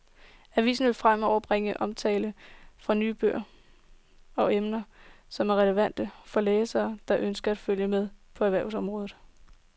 Avisen vil fremover bringe omtale af nye bøger om emner, som er relevante for læsere, der ønsker at følge med på erhvervsområdet.